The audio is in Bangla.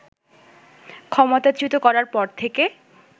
ক্ষমতাচ্যূত করার পর থেকে